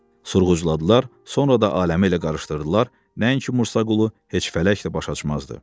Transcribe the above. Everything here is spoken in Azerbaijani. Sorğucladılar, sonra da aləmi elə qarışdırdılar, nəinki Mursa Qulu heç fələk də baş açmazdı.